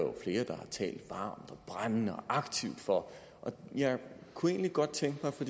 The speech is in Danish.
har talt og brændende og aktivt for jeg kunne egentlig godt tænke mig at